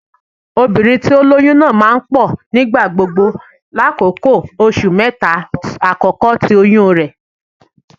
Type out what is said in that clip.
Obinrin ti o loyun naa maa n pọ nigbagbogbo lakoko oṣu mẹta akọkọ ti oyun rẹ.